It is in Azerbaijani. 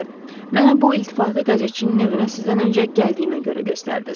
Mənə bu iltifati qəzetçinin evinə sizdən öncə gəldiyimə görə göstərdiz.